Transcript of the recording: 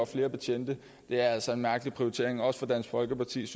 flere betjente det er altså en mærkelig prioritering også fra dansk folkepartis